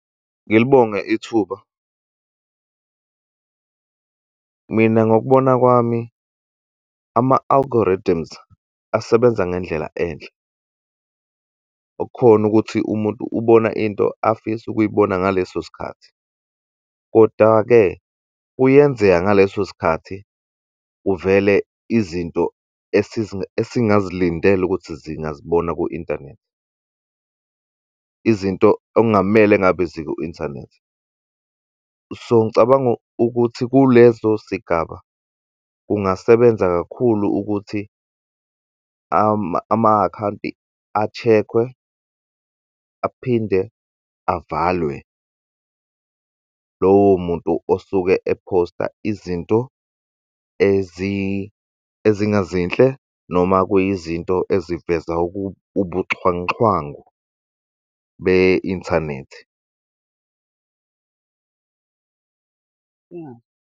Ngilibonge ithuba. Mina, ngokubona kwami, ama-algorithms asebenza ngendlela enhle, okukhona ukuthi umuntu ubona into afisa ukuyibona ngaleso sikhathi. Koda-ke, kuyenzeka ngaleso sikhathi kuvele izinto esingazilindele ukuthi zingazibona ku-inthanethi, izinto okungamele ngabe ziku-inthanethi. So, ngicabanga ukuthi kuleso sigaba kungasebenza kakhulu ukuthi ama-akhawunti a-check-we, aphinde avalwe, lowo muntu osuke ephosta izinto eziningezinhle, noma kuyizinto eziveza ubuxhwanguxhwangu be-inthanethi.